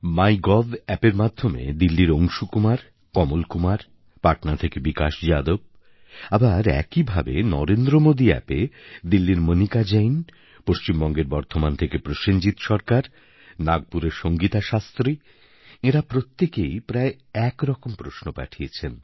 মাই gov অ্যাপের মাধ্যমে দিল্লির অংশুকুমার কমলকুমার পাটনা থেকে বিকাশ যাদব আবার একই ভাবে নরেন্দ্রমোদী অ্যাপএ দিল্লির মণিকা জৈন পশ্চিমবঙ্গের বর্ধমান থেকে প্রসেনজিত সরকার নাগপুরের সঙ্গীতা শাস্ত্রী এঁরা প্রত্যেকেই প্রায় এক রকম প্রশ্ন পাঠিয়েছেন